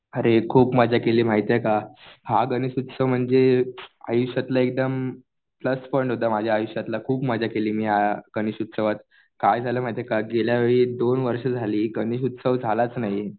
अरे खूप मजा केली माहितीये का. हा गणेश उत्सव म्हणजे आयुष्यातला एकदम प्लस पॉईंट होता माझ्या आयुष्यातला. खूप मजा केली मी ह्या गणेश उत्सवात. काय झालं माहितीये का गेल्या वेळी दोन वर्ष झाली गणेश उत्सव झालाच नाही.